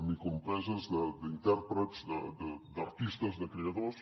microempreses d’intèrprets d’artistes de creadors